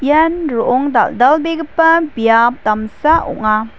ian ro·ong dal·dalbegipa biap damsa ong·a.